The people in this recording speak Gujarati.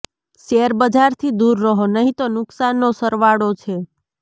શેર બજારથી દૂર રહો નહીં તો નુકસાનનો સરવાળો છે